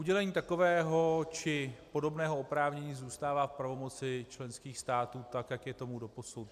Udělení takového či podobného oprávnění zůstává v pravomoci členských států tak, jak je tomu doposud.